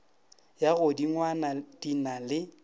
ya godingwana di na le